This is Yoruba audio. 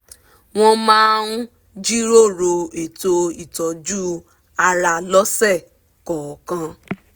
wọ́n máa ń jíròrò ètò ìtọ́jú ara lọ́sẹ̀ kọọkan